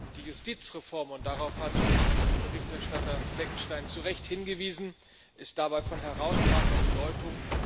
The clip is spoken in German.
Die Justizreform und darauf hat Berichterstatter Fleckenstein zu Recht hingewiesen ist dabei von herausragender Bedeutung.